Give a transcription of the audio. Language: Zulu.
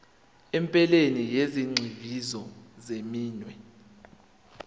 ephelele yezigxivizo zeminwe